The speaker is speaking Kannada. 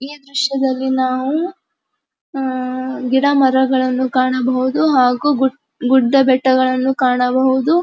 ಈ ದೃಶ್ಯದಲ್ಲಿ ನಾವು ಅಹ್ ಗಿಡಮರಗಳನ್ನು ಕಾಣಬಹುದು ಹಾಗು ಗುಡ್ಡಬೆಟ್ಟಗಳನ್ನು ಕಾಣಬಹುದು.